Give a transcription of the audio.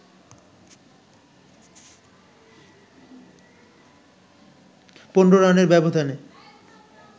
১৫ রানের ব্যবধানে